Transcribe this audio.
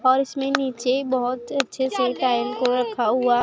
और इसमें नीचे बहुत अच्छे से टाइल को रखा हुआ--